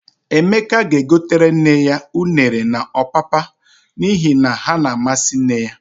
Emeka ga-egotere nne ya unere na ọpapa n'ihi na ha na-amasị nne ya.